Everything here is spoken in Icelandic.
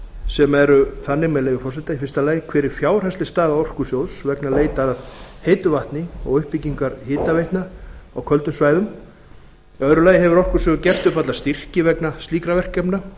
sem eru þannig með leyfi forseta fyrsta hver er fjárhagsleg staða orkusjóðs vegna leitar að heitu vatni og uppbyggingar hitaveitna á köldum svæðum annars hefur orkusjóður gert upp alla styrki vegna slíkra verkefna